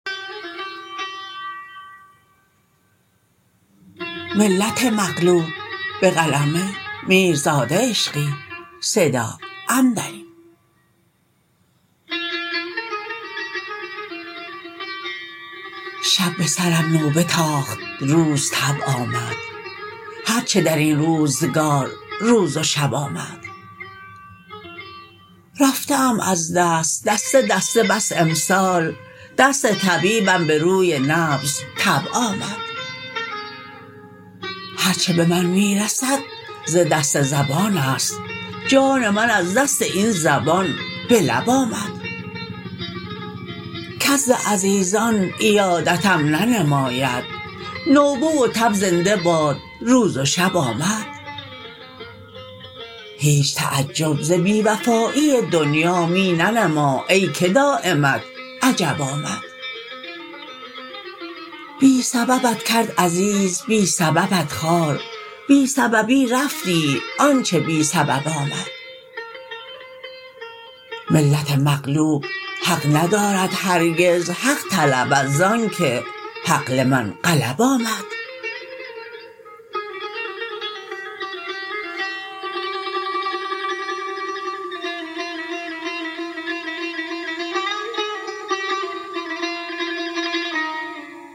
شب به سرم نوبه تاخت روز تب آمد هر چه در این روزگار روز و شب آمد رفته ام از دست دسته دسته بس امسال دست طبیبم به روی نبض تب آمد هر چه به من می رسد ز دست زبانست جان من از دست این زبان به لب آمد کس ز عزیزان عیادتم ننماید نوبه و تب زنده باد روز و شب آمد هیچ تعجب ز بی وفایی دنیا می ننما ای که دایمت عجب آمد بی سببت کرد عزیز بی سببت خوار بی سببی رفت آنچه بی سبب آمد ملت مغلوب حق ندارد هرگز حق طلبد زآنکه حق لمن غلب آمد